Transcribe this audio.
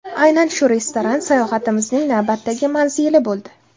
Aynan shu restoran sayohatimizning navbatdagi manzili bo‘ldi.